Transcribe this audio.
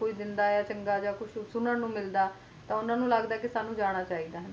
ਕੋਈ ਸਾਲ ਕੋਈ ਸੁਨੂੰ ਨੂੰ ਮਿਲਦਾ ਹੈ ਤੇ ਉਹ ਕਹਿੰਦੇ ਕ ਸਾਂਨੂੰ ਵੀ ਜਾਣਾ ਚਾਹੀਏ ਦਾ